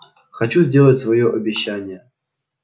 хочу сделать своё обещание